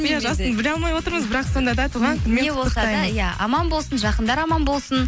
иә жасын біле алмай отырмыз бірақ сонда да туған күнімен иә аман болсын жақындары аман болсын